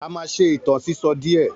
A máa ṣe ìtàn sísọ díè